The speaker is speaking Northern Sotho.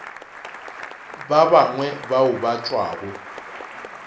ba bangwe bao ba tšwago